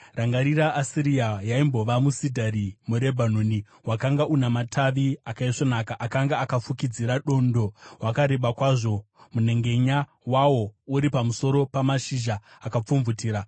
Rangarirai Asiria, yaimbova musidhari muRebhanoni, wakanga una matavi akaisvonaka akanga akafukidzira dondo; wakanga wakareba kwazvo, manhengenya awo ari pamusoro pamashizha akapfumvutira.